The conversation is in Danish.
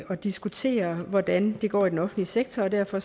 at diskutere hvordan det går i den offentlige sektor og derfor